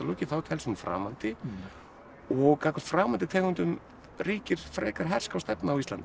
þá telst hún framandi og gagnvart framandi tegundum ríkir frekar herská stefna á Íslandi